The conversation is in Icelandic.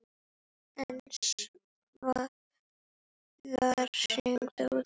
En svo var hringt út.